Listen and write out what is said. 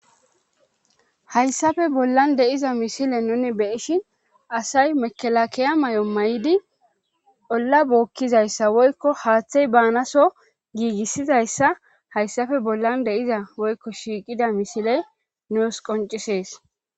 Hayssafe bollan deiza misile nuni beishin asay mekelakiya may'o may'idi olla bookkizayssa woykko haaththey baanaso giigissizayssa hayssafe bollan deiza woykko shiiqida misile nuus qoncisees.